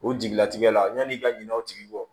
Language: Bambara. O jigilatigɛ la yanni i ka ɲinɛ o tigi kɔ